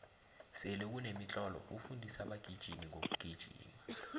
sele kunemitlolo ofundisa abagijimi ngokugijima